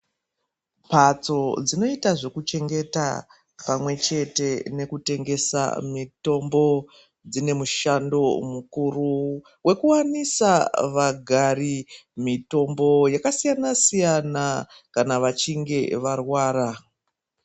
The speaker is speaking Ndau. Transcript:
Mbatso dzinoita zvekuchengeta pamwechete nekutengesa mitombo dzine mushando mukuru wekuwanisa vagari mitombo yakasiyana siyana kana vechinge varwara.